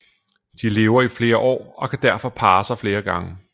De lever i flere år og kan derfor parre sig flere gange